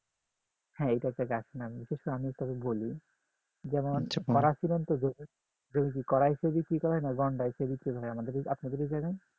হ্যাঁ এটা গাছের নাম এটা কি আপনাকে একটু বলি যেমন একটা কড়াইশুঁটি যেমন হয় না সেরকম আপনাদের এই জায়গায়